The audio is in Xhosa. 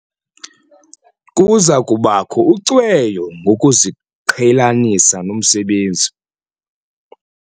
Kuza kubakho ucweyo lokuziqhelanisa nomsebenzi.